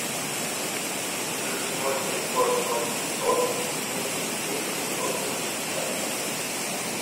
плюс ноль пятьсот ноль семьсот семьдесят семь девяносто пятьдесят